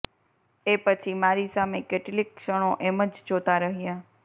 એ પછી મારી સામે કેટલીક ક્ષણો એમ જ જોતા રહ્યા